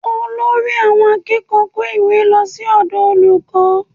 Olórí àwọn akẹ́kọ̀ọ́ kó ìwé lọ sí ọ̀dọ̀ olùkọ́